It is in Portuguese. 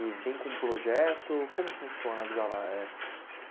e vem com um projeto, como funciona o Avisa lá? É...